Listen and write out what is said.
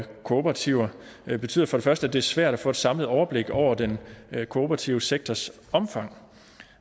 kooperativer betyder for første at det er svært at få et samlet overblik over den kooperative sektors omfang